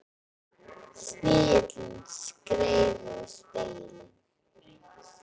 Snigillinn skreið yfir spegilinn.